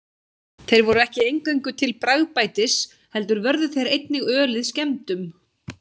Þeir voru ekki eingöngu til bragðbætis heldur vörðu þeir einnig ölið skemmdum.